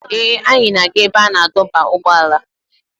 Ee, anyị na-aga ebe a na-adọba ụgbọala.